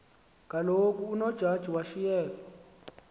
kaloku unojaji washiyeka